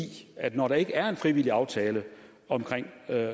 at når der ikke er en frivillig aftale omkring